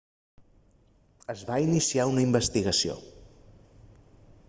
es va iniciar una investigació